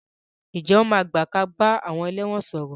Ǹjẹ́ wọn máa gbà kí a bá àwọn ẹlẹ́wọ̀n sọ̀rọ̀?